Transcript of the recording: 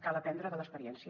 cal aprendre de l’experiència